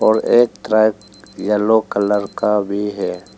और एक truck yellow colour का भी है।